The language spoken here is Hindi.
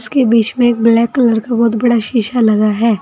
इसके बीच में एक ब्लैक कलर का बहुत बड़ा शीशा लगा है।